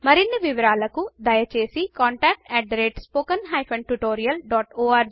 మరిన్ని వివరాలకు దయచేసి contactspoken tutorial